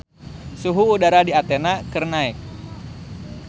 Suhu udara di Athena keur naek